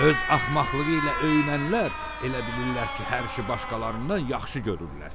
Öz axmaqlığı ilə öyünənlər elə bilirlər ki, hər işi başqalarından yaxşı görürlər.